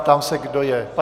Ptám se, kdo je pro.